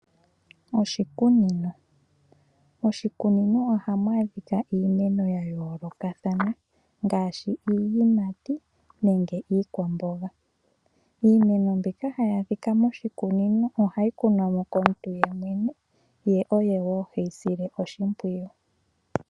Oshikunino Moshikunino ohamu adhika iimeno ya yoolokathana ngaashi iiyimati nenge iikwamboga. Iimeno mbika hayi adhika moshikunino ohayi kunwa mo komuntu yemwene ye oye wo he yi sile oshimpwiyu.